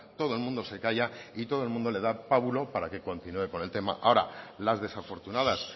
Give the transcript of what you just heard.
todo el mundo se calla y todo el mundo le da pábulo para que continúe con el tema ahora las desafortunadas